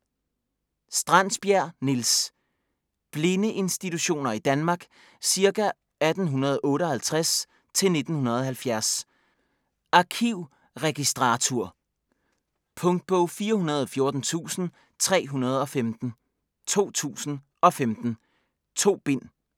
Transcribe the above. Strandsbjerg, Niels: Blindeinstitutioner i Danmark ca. 1858-1970 Arkivregistratur. Punktbog 414315 2015. 2 bind.